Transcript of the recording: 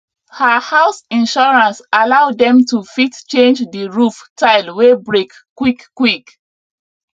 her house insurance allow dem to fit change the roof tile wey break quick quick